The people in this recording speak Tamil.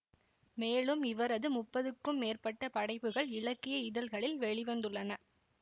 மேலும் இவரது முப்பதுக்கும் மேற்பட்ட படைப்புகள் இலக்கிய இதழ்களில் வெளி வந்துள்ளன